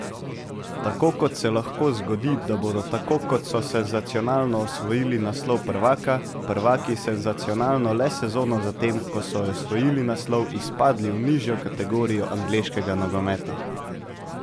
Tako kot se lahko zgodi, da bodo tako kot so senzacionalno osvojili naslov prvaka, prvaki senzacionalno le sezono zatem, ko so osvojili naslov, izpadli v nižjo kategorijo angleškega nogometa.